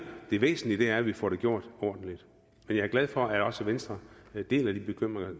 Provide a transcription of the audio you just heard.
det væsentlige er at vi får det gjort ordentligt men jeg er glad for at også venstre deler nogle